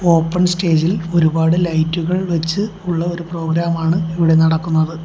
Open സ്റ്റേജിൽ ഒരുപാട് ലൈറ്റുകൾ വെച്ച് ഉള്ള ഒരു പ്രോഗ്രാം ആണ് ഇവിടെ നടക്കുന്നത്.